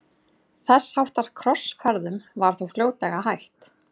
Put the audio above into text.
þess háttar krossferðum var þó fljótlega hætt